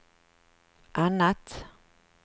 annat